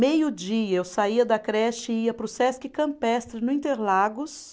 Meio dia eu saía da creche e ia para o Sesc Campestre, no Interlagos.